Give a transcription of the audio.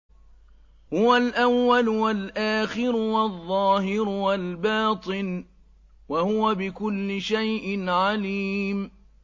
هُوَ الْأَوَّلُ وَالْآخِرُ وَالظَّاهِرُ وَالْبَاطِنُ ۖ وَهُوَ بِكُلِّ شَيْءٍ عَلِيمٌ